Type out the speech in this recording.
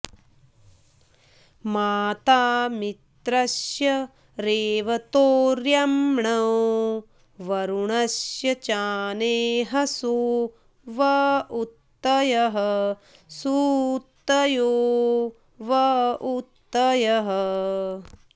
मा॒ता मि॒त्रस्य॑ रे॒वतो॑ऽर्य॒म्णो वरु॑णस्य चाने॒हसो॑ व ऊ॒तयः॑ सुऊ॒तयो॑ व ऊ॒तयः॑